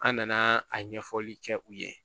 An nana a ɲɛfɔli kɛ u ye